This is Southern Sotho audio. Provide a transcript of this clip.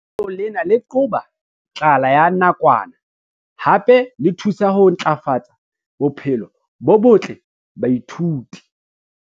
Lenaneo lena le qoba tlala ya nakwana hape le thusa ho ntlafatsa bophelo bo botle ba baithuti.